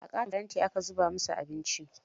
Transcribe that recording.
A ƙaton faranti aka zubo musu abincin.